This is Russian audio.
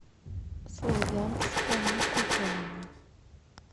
славянска на кубани